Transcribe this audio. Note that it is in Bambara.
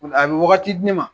a bɛ wagati di ne ma.